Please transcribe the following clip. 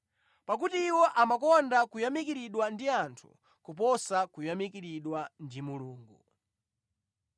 pakuti iwo amakonda kuyamikiridwa ndi anthu kuposa kuyamikiridwa ndi Mulungu.